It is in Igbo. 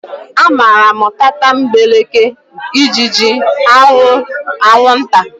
Amaara m tatambeleke, ijiji, anwụ, anwunta.